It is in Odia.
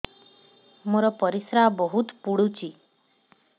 ମୋର ପରିସ୍ରା ବହୁତ ପୁଡୁଚି